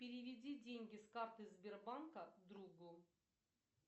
переведи деньги с карты сбербанка другу